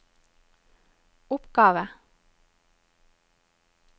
oppgave